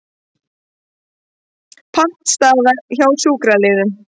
Pattstaða hjá sjúkraliðum